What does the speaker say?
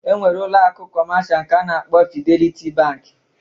E nwere ụlọ akụ kọmasha nke a na-akpọ Fideliti Bankị